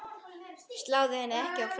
Sláðu henni ekki á frest.